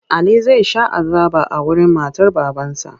Ali zai sha azaba a wurin matar babansa.